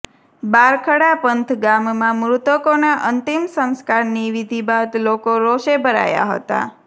બારખડા પંથ ગામમાં મૃતકોનાં અંતિમ સંસ્કારની વિધી બાદ લોકો રોષે ભરાયા હતા